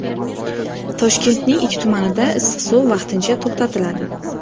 Toshkentning ikki tumanida issiq suv vaqtincha to‘xtatiladi.